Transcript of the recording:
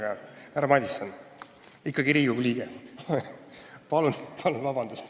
Seal oli ikka härra Jaak Madison, kes on Riigikogu liige.